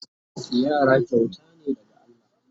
Yara kyauta ne daga Allah